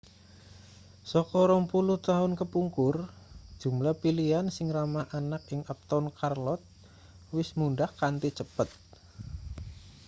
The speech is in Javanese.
saka 20 taun kepungkur jumlah pilihan sing ramah anak ing uptown charlotte wis mundhak kanthi cepet